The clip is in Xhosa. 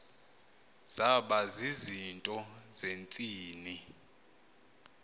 zaba zizinto zentsini